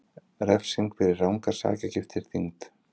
Refsing fyrir rangar sakargiftir þyngd